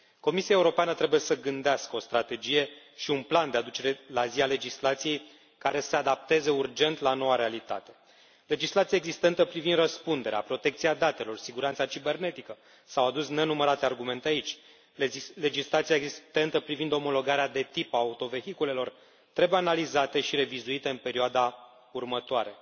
Comisia Europeană trebuie să gândească o strategie și un plan de aducere la zi a legislației, care să se adapteze urgent la noua realitate legislația existentă privind răspunderea, protecția datelor, siguranța cibernetică s au adus nenumărate argumente aici legislația existentă privind omologarea de tip a autovehiculelor trebuie analizate și revizuite în perioada următoare.